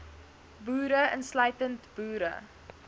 boere insluitend boere